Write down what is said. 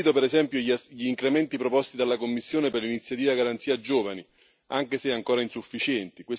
Condivido per esempio gli incrementi proposti dalla Commissione per l'iniziativa Garanzia per i giovani, anche se ancora insufficienti.